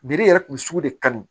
yɛrɛ kun bɛ sugu de kanu